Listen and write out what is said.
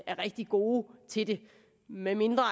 rigtig gode til det medmindre